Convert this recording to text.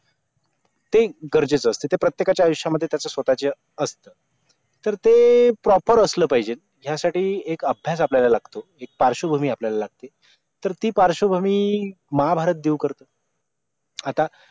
ते गरजेचं असतं त्या प्रत्येकाच्या आयुष्यामध्ये त्याच स्वतःचे असतं तर ते proper असलं पाहिजे ह्यासाठी एक अभ्यास आपल्याला लागतो एक पार्श्वभूमी आपल्याला लागते तर ती पार्श्वभूमी महाभारत देव करतो आता